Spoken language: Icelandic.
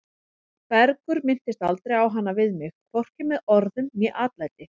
Bergur minntist aldrei á hana við mig, hvorki með orðum né atlæti.